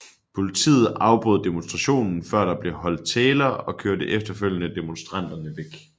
Politiet afbrød demonstrationen før der blev holdt taler og kørte efterfølgende demonstranterne væk